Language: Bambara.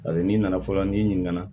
A bɛ n'i nana fɔlɔ n'i ɲininka